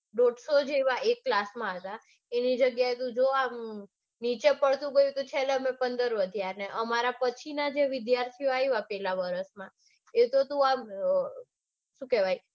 દોડસો જેવા એક class માં હતા એની જગ્યાએ નીચે નીચે પડતું પડતું છેલ્લે અમે પંદર વધ્યા. ને અમારા પછી જે વિદ્યાર્થીઓ આઇવા પેલા વરસમાં એતો આમ શું કેવાય